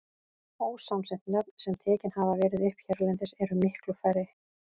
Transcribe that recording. Ósamsett nöfn, sem tekin hafa verið upp hérlendis, eru miklu færri.